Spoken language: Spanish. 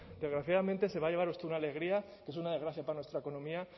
desgraciadamente se va a llevar usted una alegría que es una desgracia para nuestra economía